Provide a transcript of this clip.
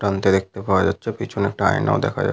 টানতে দেখতে পাওয়া যাচ্ছে। পিছনে একটি আয়নাও দেখা যা --